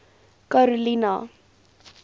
karolina